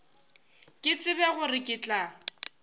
ke tsebe gore ke tla